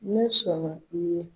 Ne sɔnna i ye.